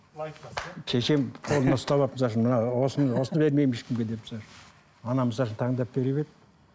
шешем қолынан ұстап алып мына осыны осыны бермеймін ешкімге деп анам таңдап беріп еді